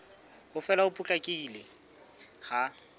ho fela ho potlakileng ha